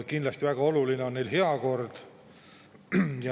Kindlasti väga oluline on ka heakord.